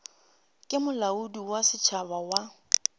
ke molaodi wa setšhaba wa